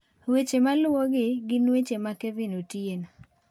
Weche maluwogi gin weche ma Kevin Otieno .